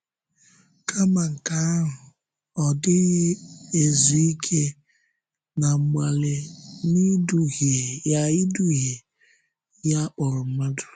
Kàmá nke ahụ, ọ dịghị ezú ike ná mgbalị ya ịdùhìe ihe a kpọrọ mmadụ.